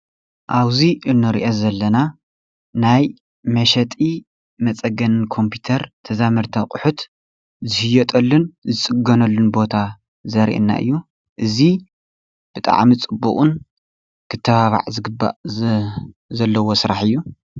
እብዙይ እንሪኦ ዘለና ናይ መሸጢ መፀገንን ኮምፒተር ተዛመድቲ አቁሑት ዝሽየጠሉን ዝፅገነሉን ቦታ ዘርእየና እዩ እዙይ ብጣዕሚ ፅቡቅን ክተባባዕ ዝግባእ ዘለዎ ስራሕ እዩ።